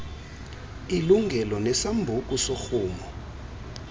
ililungelo nesambuku sorhumo